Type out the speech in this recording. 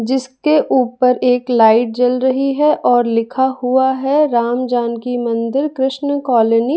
जिसके ऊपर एक लाइट जल रही है और लिखा हुआ है राम जानकी मंदिर कृष्ण कॉलोनी --